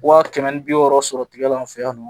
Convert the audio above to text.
Wa kɛmɛ ni bi wɔɔrɔ sɔrɔ tigɛ lan fɛ yan nɔ